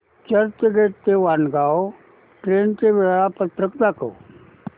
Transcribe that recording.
चर्चगेट ते वाणगांव ट्रेन चे वेळापत्रक दाखव